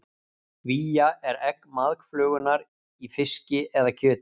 Vía er egg maðkaflugunnar í fiski eða kjöti.